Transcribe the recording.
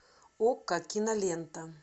окко кинолента